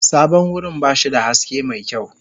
Sabon wurin ba shi da haske mai kyau.